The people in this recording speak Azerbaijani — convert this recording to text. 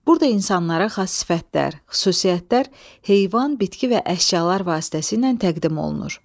Burada insanlara xas sifətlər, xüsusiyyətlər, heyvan, bitki və əşyalar vasitəsilə təqdim olunur.